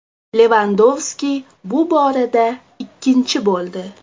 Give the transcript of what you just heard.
Levandovski bu borada ikkinchi bo‘ldi.